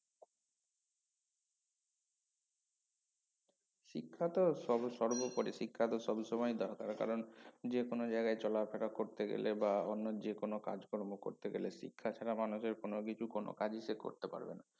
শিক্ষাতো সব~সর্বপরি শিক্ষা তো সবসময়ই দরকার কারন যে কোনো জায়গায় চলাফেরা করতে গেলে বা অন্য যে কোনো কাজ কর্ম করতে গেলে শিক্ষা ছাড়া মানুষের কোনো কিছু কোনো কাজই সে করতে পারবে না